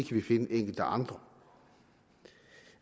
vi finde enkelte andre